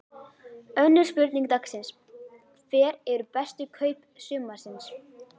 Önnur spurning dagsins: Hver eru bestu kaup sumarsins?